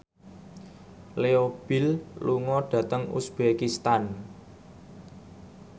Leo Bill lunga dhateng uzbekistan